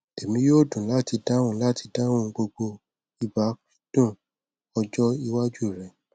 emi yoo dun lati dahun lati dahun gbogbo ibakcdun ọjọ iwaju rẹ